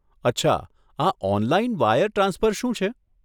અચ્છા, આ online wire transfer શું છે?